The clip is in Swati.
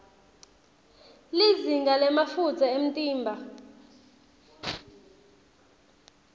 lizinga lemafutsa emtimba